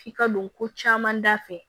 K'i ka don ko caman da fɛ